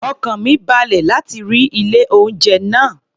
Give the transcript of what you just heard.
Ọkàn mi balẹ̀ láti rí ilé-oúnjẹ náà